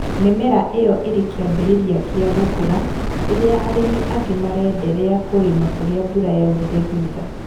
Mi͂mera i͂yo i͂ri͂ ki͂ambiri͂aini͂ ki͂a gũkũra ríría ari͂mi angi͂ marenderea kũri͂ma kuria mbura yaurire thutha.